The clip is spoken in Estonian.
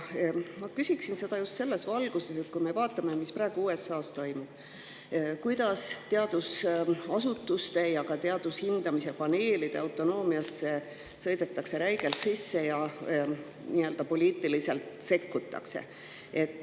Ma küsin seda just selles valguses, mis praegu USA-s toimub ning kuidas seal sõidetakse teadusasutuste ja teaduse hindamise paneelide autonoomiasse räigelt sisse ja sekkutakse poliitiliselt.